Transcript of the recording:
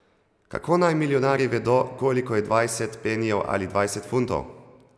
Kako naj milijonarji vedo, koliko je dvajset penijev ali dvajset funtov...